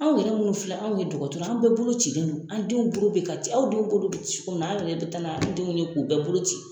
Anw yɛrɛ minnu filɛ, anw ye dukɔtɔrɔ ye, an bɛɛ bolocilen don, an denw bolo bɛ ka ci, aw denw bolo bi ci cogo min na, an yɛrɛ bi taga n'anw denw ye k'u bɛɛ bolo ci.